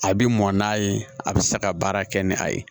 A bi mɔn n'a ye a bɛ se ka baara kɛ ni a ye